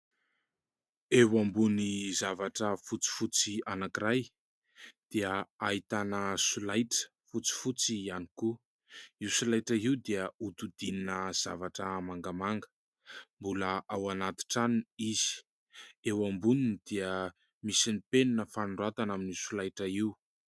Eo ambony zavatra fotsifotsy anankiray dia ahitana solaitra fotsifotsy ihany koa. Io solaitra io dia hodidinina zavatra mangamanga ; mbola ao anaty tranony izy ; eo amboniny dia misy ny penina fanoratana amin'io solaitra io.